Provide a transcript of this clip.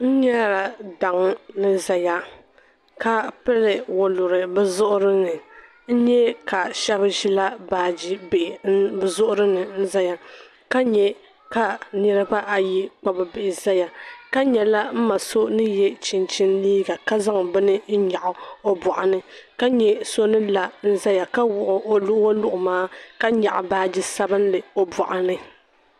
N-nyela daŋ ni zaya ka piri waluri bɛ zuɣu ni n-nye ka shɛb' ʒila baajibihi bɛ zuɣuri ni n-zaya ka nye ka niribaa ayi kpabi bihi zaya ka nye la m-ma so ni je chinchini liiga ka zaŋ bini n-nyaɣi o bɔɣu ni ka nye so ni la n-zaya ka kpuɣi o waluɣu maa ka nyaɣi baaji sabinli o bɔɣu ni.